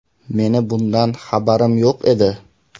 Meni bundan xabarim yo‘q edi.